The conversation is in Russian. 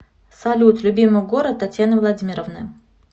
салют любимый город татьяны владимировны